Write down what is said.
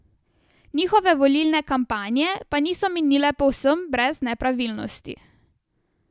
Njihove volilne kampanje pa niso minile povsem brez nepravilnosti.